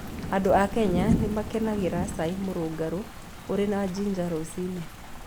Andũ a Kenya nĩ makenagĩra cai mũrũngarũ ũrĩ na ginger rũcinĩ.